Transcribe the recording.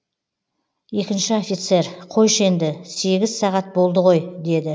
екінші офицер қойшы енді сегіз сағат болды ғой деді